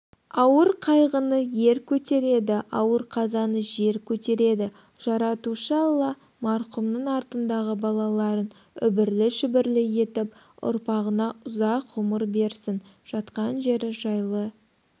ауыр қайғыны ер көтереді ауыр қазаны жер көтереді жаратушы алламарқұмның артындағы балаларын үбірлі-шүбірлі етіп ұрпағына ұзақ ғұмыр берсін жатқан жері жайлы